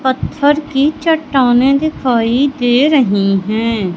पत्थर की चट्टाने दिखाई दे रही है।